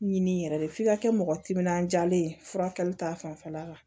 Ɲini yɛrɛ de f'i ka kɛ mɔgɔ timinandiyalen ye furakɛli ta fanfɛla la